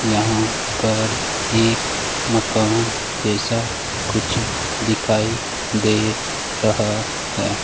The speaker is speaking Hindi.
यहां पर एक मकान जैसा कुछ दिखाई दे रहा है।